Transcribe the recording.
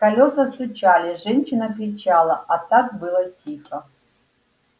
колёса стучали женщина кричала а так было тихо